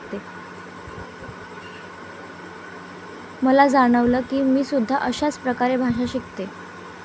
मला जाणवलं कि मी सुद्धा अशाच प्रकारे भाषा शिकते.